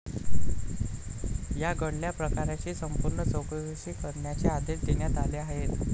या घडल्या प्रकाराची संपूर्ण चौकशी करण्याचे आदेश देण्यात आले आहेत.